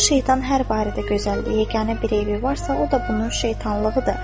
Bu şeytan hər barədə gözəl, yeganə bir eybi varsa, o da bunun şeytanlığıdır.